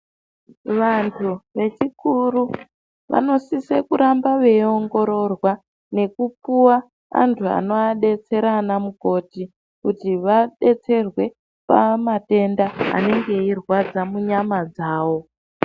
Vantu vechikuru vanosise kuramba veiongororwa nekupuwa antu anodetsera anamukoti kuti vadetserwe pamatenda anenge eirwadza munyama dzawo.